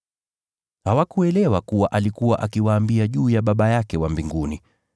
Hawakuelewa kuwa alikuwa akiwaambia juu ya Baba yake wa Mbinguni.